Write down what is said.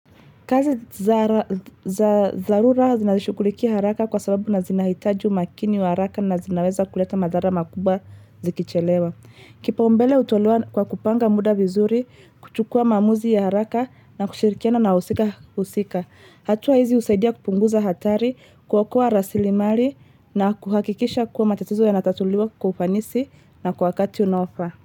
Kazi zara za za zarura zinashukulikia haraka kwa sababu na zinahitaji umakini wa haraka na zinaweza kuleta madhara makubwa zikichelewa. Kipaumbele hutolewa kwa kupanga muda vizuri, kuchukua maamuzi ya haraka na kushirikiana na wahusika husika. Hatua hizi husaidia kupunguza hatari, kuokoa rasilimali na kuhakikisha kuwa matatizo yanatatuliwa kwa ufanisi na kwa wakati unofaa.